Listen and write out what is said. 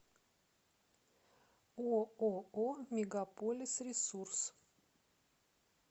ооо мегаполисресурс